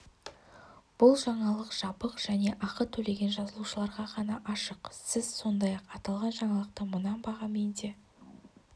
бұл жаңалық жабық және ақы төлеген жазылушыларға ғана ашық сіз сондай-ақ аталған жаңалықты мына бағамен де